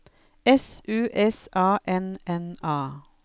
S U S A N N A